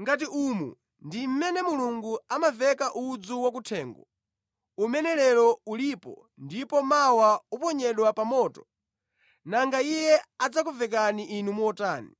Ngati umu ndi mmene Mulungu amavekera udzu wakuthengo, umene lero ulipo ndipo mawa uponyedwa pa moto, nanga Iye adzakuvekani inu motani.